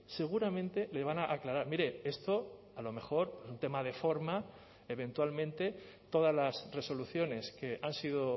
seguramente le van a aclarar mire esto a lo mejor un tema de forma eventualmente todas las resoluciones que han sido